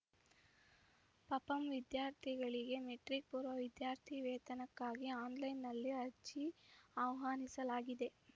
ಪಪಂ ವಿದ್ಯಾರ್ಥಿಗಳಿಗೆ ಮೆಟ್ರಿಕ್‌ಪೂರ್ವ ವಿದ್ಯಾರ್ಥಿ ವೇತನಕ್ಕಾಗಿ ಆನ್‌ಲೈನ್‌ನಲ್ಲಿ ಅರ್ಜಿ ಆಹ್ವಾನಿಸಲಾಗಿದೆ